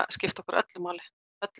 skipt okkur öllu máli öllu